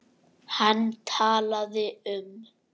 Hann talaði um